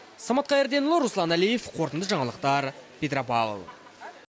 самат қайырденұлы руслан әлиев қорытынды жаңалықтар петропавл